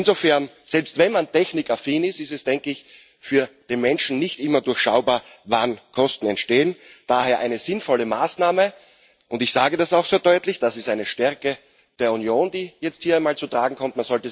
Insofern ist es, selbst wenn man technikaffin ist, für den Menschen nicht immer durchschaubar, wann Kosten entstehen. Daher ist dies eine sinnvolle Maßnahme, und ich sage das auch sehr deutlich Das ist eine Stärke der Union, die jetzt hier einmal zum Tragen kommt.